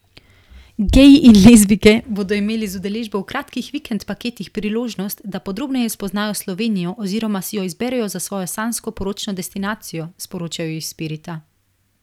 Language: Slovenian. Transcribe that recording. Geji in lezbijke bodo imeli z udeležbo v kratkih vikend paketih priložnost, da podrobneje spoznajo Slovenijo oziroma si jo izberejo za svojo sanjsko poročno destinacijo, sporočajo iz Spirita.